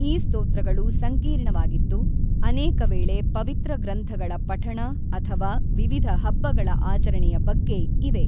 ಈ ಸ್ತೋತ್ರಗಳು ಸಂಕೀರ್ಣವಾಗಿದ್ದು, ಅನೇಕವೇಳೆ ಪವಿತ್ರ ಗ್ರಂಥಗಳ ಪಠಣ ಅಥವಾ ವಿವಿಧ ಹಬ್ಬಗಳ ಆಚರಣೆಯ ಬಗ್ಗೆ ಇವೆ.